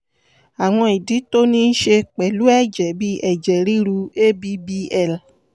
àwọn ìdí tó ní í ṣe pẹ̀lú ẹ̀jẹ̀ bíi ẹ̀jẹ̀ ríru abbl